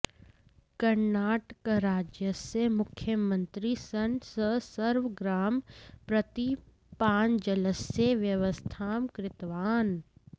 कर्णाटकराज्यस्य मुख्यमन्त्री सन् सः सर्वग्रामं प्रति पानजलस्य व्यवस्थां कृतवान्